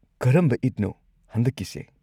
ꯀꯔꯝꯕ ꯏꯗꯅꯣ ꯍꯟꯗꯛꯀꯤꯁꯦ?